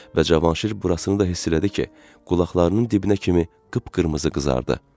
Və Cavanşir burasını da hiss elədi ki, qulaqlarının dibinə kimi qıpqırmızı qızardı.